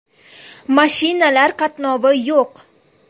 Mashinalar qatnovi yo‘q.